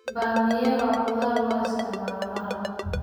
Bamia waa khudaar loo isticmaalo maraq.